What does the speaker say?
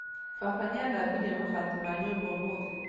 Baba nĩathambirie mabati ma nyũmba ũmũthĩ